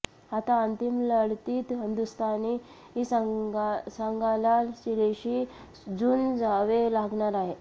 आता अंतिम लढतीत हिंदुस्थानी संघाला चिलीशी झुंजावे लागणार आहे